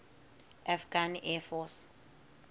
afghan air force